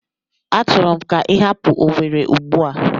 Achọrọ m ka ị hapụ Owere Ugbua!